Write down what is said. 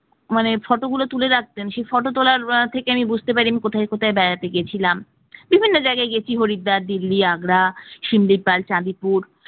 সেই photo গুলো তুলে রাখতেন সেই photo তোলার আহ থেকে আমি কোথায় কোথায় বেড়াতে গেছিলাম বিভিন্ন জায়গায় বেশি হরিদ্বার দিল্লি আগ্রা শ্যামলী পাল চাঁদিপুর